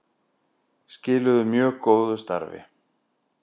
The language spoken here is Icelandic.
Skiluðu mjög góðu starfi